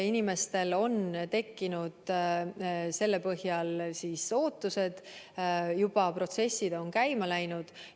Inimestel on tekkinud selle põhjal ootused, protsessid on juba käima läinud.